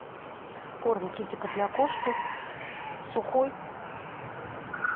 корм китикет для кошки сухой